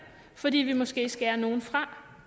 fordi vi måske skærer nogle fra